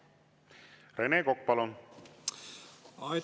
Rene Kokk, palun!